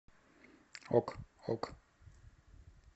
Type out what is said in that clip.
ок ок